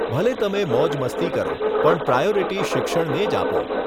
ભલે તમે મોજમસ્તી કરો, પણ પ્રાયોરિટી શિક્ષણને જ આપો.